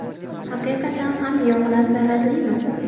Haqiqatan ham yog‘lar zararlimi?